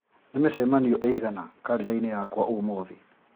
nĩ mĩcemanio ĩigana karenda-inĩ yakwa ũmũthĩ